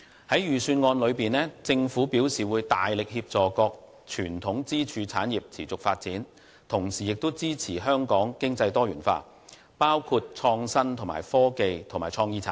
在預算案內，政府表示會大力協助各傳統支柱產業持續發展，同時亦支持香港經濟多元化，包括創新科技和創意產業。